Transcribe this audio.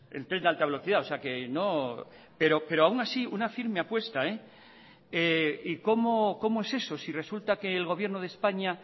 el tren de alta velocidad pero aun así una firme apuesta y cómo es eso si resulta que el gobierno de españa